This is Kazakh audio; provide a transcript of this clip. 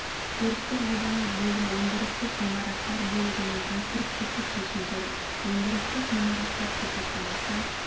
курстық жобалау бөлім өндірістік ғимараттар бөлігінің конструктивтік шешімдері өндірістік ғимараттар сипаттамасы